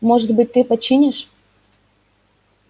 может быть ты починишь